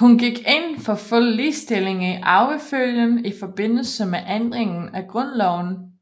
Hun gik ind for fuld ligestilling i arvefølgen i forbindelse med ændringen af grundloven